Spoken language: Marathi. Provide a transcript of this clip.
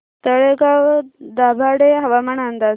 तळेगाव दाभाडे हवामान अंदाज